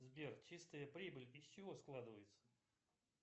сбер чистая прибыль из чего складывается